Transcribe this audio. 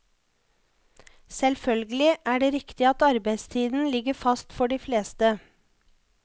Selvfølgelig er det riktig at arbeidstiden ligger fast for de fleste.